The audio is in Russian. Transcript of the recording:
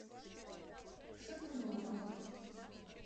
шатунова